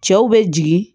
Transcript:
Cɛw bɛ jigin